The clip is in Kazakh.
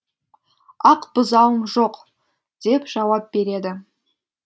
ақ бұзауым жоқ деп жауап береді